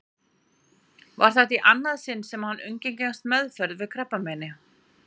Var þetta í annað sinn sem hann undirgengst meðferð við krabbameini.